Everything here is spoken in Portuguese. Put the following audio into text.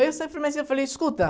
Aí eu falei, escuta.